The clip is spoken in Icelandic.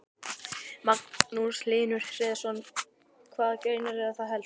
Magnús Hlynur Hreiðarsson: Hvaða greinar eru það helst?